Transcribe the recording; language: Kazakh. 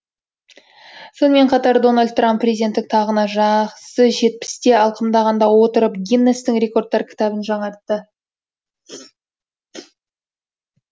сонымен қатар дональд трамп президенттік тағына жақсы жетпісті алқымдағанда отырып гиннестің рекордтар кітабын жаңартты